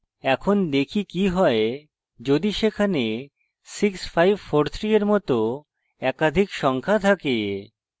এখন দেখি কি হয় যদি সেখানে 6543 এর মত একাধিক সংখ্যা থাকে